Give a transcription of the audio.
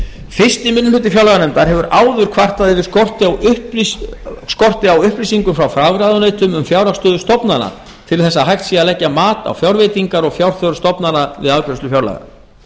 fyrsti minnihluti fjárlaganefndar hefur áður kvartað yfir skorti á upplýsingum frá fagráðuneytum um fjárhagsstöðu stofnana til að hægt sé að leggja mat á fjárveitingar og fjárþörf stofnana við afgreiðslu fjárlaga